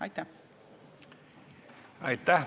Aitäh!